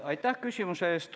Aitäh küsimuse eest!